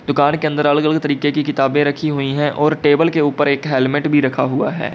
दुकान के अंदर अलग अलग तरीके की किताबें रखी हुई है और टेबल के ऊपर एक हेलमेट भी रखा हुआ है।